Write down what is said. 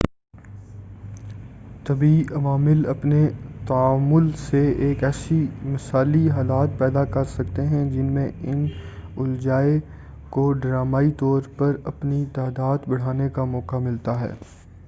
طبیعی عوامل اپنے تعامُل سے ایسے مثالی حالات پیدا کر سکتے ہیں جن میں ان الجائے کو ڈرامائی طور سے اپنی تعداد بڑھانے کا موقع ملتا ہے